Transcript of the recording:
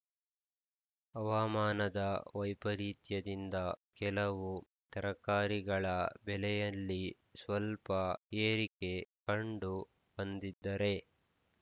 ಹವಾಮಾನದ ವೈಪರೀತ್ಯದಿಂದ ಕೆಲವು ತರಕಾರಿಗಳ ಬೆಲೆಯಲ್ಲಿ ಸ್ವಲ್ಪ ಏರಿಕೆ ಕಂಡು ಬಂದಿದ್ದರೆ